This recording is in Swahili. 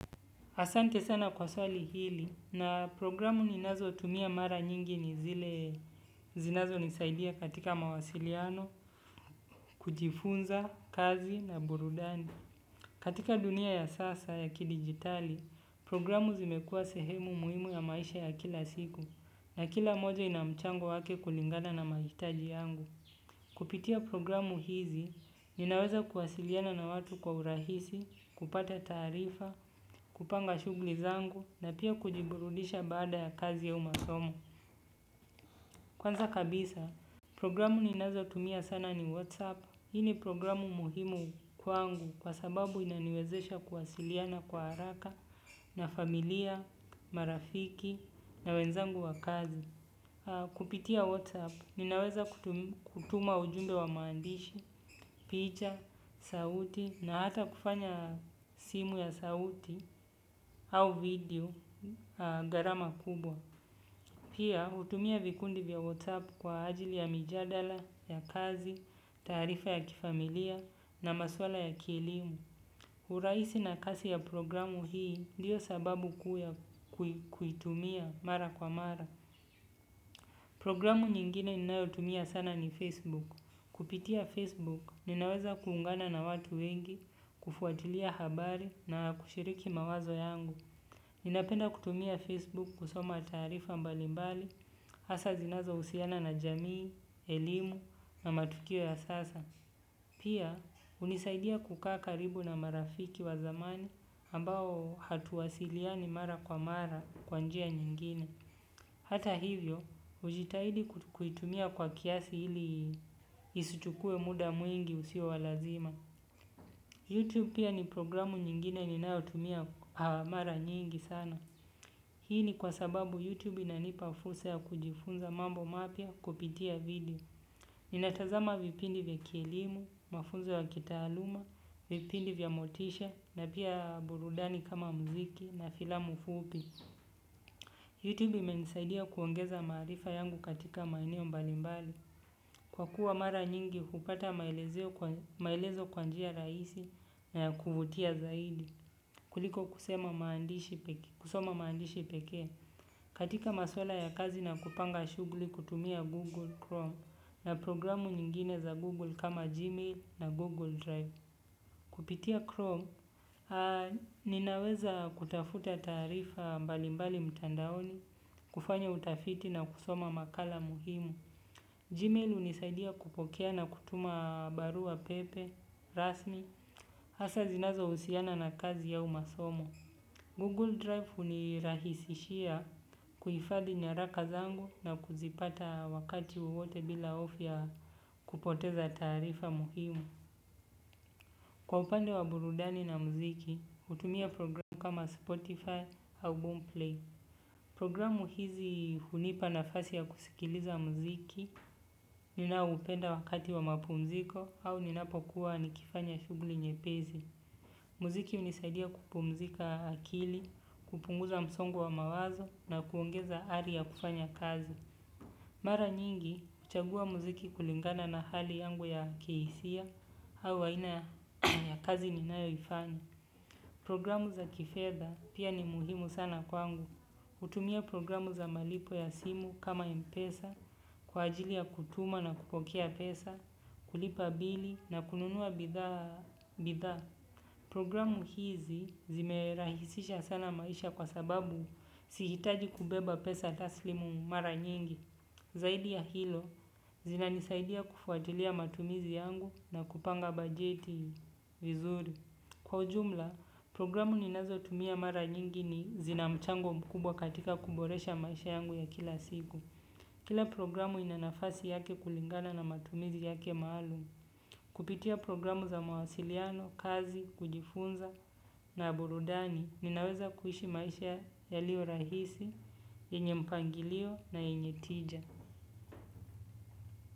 Asante sana kwa swali hili na programu ninazo tumia mara nyingi ni zile zinazo nisaidia katika mawasiliano, kujifunza, kazi na burudani. Katika dunia ya sasa ya ki digitali, programu zimekua sehemu muhimu ya maisha ya kila siku na kila moja inamchango wake kulingana na mahitaji yangu. Kupitia programu hizi, ninaweza kuwasiliana na watu kwa urahisi, kupata taarifa, kupanga shughli zangu na pia kujiburudisha baada ya kazi au masomo. Kwanza kabisa, programu ninazo tumia sana ni whatsApp. Hii ni programu muhimu kwangu kwa sababu inaniwezesha kuwasiliana kwa haraka na familia, marafiki na wenzangu wa kazi. Kupitia WhatsApp ninaweza kutuma ujumbe wa maandishi, picha, sauti na hata kufanya simu ya sauti au video gharama kubwa. Pia hutumia vikundi vya WhatsApp kwa ajili ya mijadala, ya kazi, taarifa ya kifamilia na maswala ya kielimu. Urahisi na kasi ya programu hii ndiyo sababu kuitumia mara kwa mara. Programu nyingine ninayotumia sana ni Facebook. Kupitia Facebook, ninaweza kuungana na watu wengi, kufuatilia habari na kushiriki mawazo yangu. Ninapenda kutumia Facebook kusoma taarifa mbalimbali, hasa zinazo husiana na jamii, elimu na matukio ya sasa. Pia, hunisaidia kukaa karibu na marafiki wa zamani ambao hatuwasiliani mara kwa mara kwa njia nyingine. Hata hivyo, hujitahidi kuitumia kwa kiasi ili isichukue muda mwingi usio walazima. YouTube pia ni programu nyingine ni nayotumia haa mara nyingi sana. Hii ni kwa sababu YouTube ina nipafursa ya kujifunza mambo mapya kupitia video. Ninatazama vipindi vya kielimu, mafunzo ya kitaaluma, vipindi vya motisha, na pia burudani kama muziki na filamu fupi. Youtube imenisaidia kuongeza maarifa yangu katika maeneo mbalimbali, kwa kuwa mara nyingi hupata maaelezeo maelezo kwanjia rahisi na ya kuvutia zaidi, kuliko kusema maandishi pekee, katika maswala ya kazi na kupanga shughuli kutumia Google Chrome na programu nyingine za Google kama Gmail na Google Drive. Kupitia Chrome, ninaweza kutafuta taarifa mbalimbali mtandaoni, kufanya utafiti na kusoma makala muhimu. Gmail hunisaidia kupokea na kutuma barua pepe, rasmi, hasa zinazo husiana na kazi au masomo. Google Drive hunirahisishia kuhifadhi nyaraka zangu na kuzipata wakati wowote bila hofu ya kupoteza taarifa muhimu. Kwa upande wa burudani na muziki, hutumia programu kama Spotify, au boomplay. Programu hizi hunipa na fasi ya kusikiliza muziki ninaoupenda wakati wa mapu mziko au ninapo kuwa nikifanya shuguli nyepezi. Muziki hunisaidia kupumzika akili, kupunguza msongo wa mawazo na kuongeza ari ya kufanya kazi. Mara nyingi, huchagua muziki kulingana na hali yangu ya kihisia, hau aina ya kazi ni nayo ifanya. Programu za kifedha pia ni muhimu sana kwangu. Hutumia programu za malipo ya simu kama mpesa, kwa ajili ya kutuma na kupokea pesa, kulipa bili na kununua bidhaa. Programu hizi zimerahisisha sana maisha kwa sababu sihitaji kubeba pesa taslimu mara nyingi. Zaidi ya hilo, zina nisaidia kufuatilia matumizi yangu na kupanga bajeti vizuri. Kwa ujumla, programu ninazo tumia mara nyingi ni zina mchango mkubwa katika kuboresha maisha yangu ya kila siku. Kila programu inanafasi yake kulingana na matumizi yake maalum. Kupitia programu za mawasiliano, kazi, kujifunza na burudani, ninaweza kuishi maisha ya lio rahisi, yenye mpangilio na yenye tija.